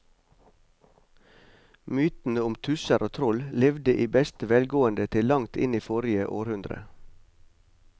Mytene om tusser og troll levde i beste velgående til langt inn i forrige århundre.